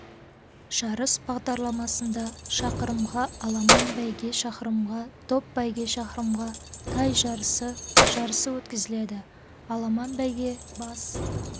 жарыс бағдарламасында шақырымға аламан бәйге шақырымға топ бәйге шақырымға тай жарысы жарысы өткізіледі аламан байге бас